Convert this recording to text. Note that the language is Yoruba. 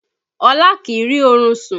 Ọlá kìí rí orun sùn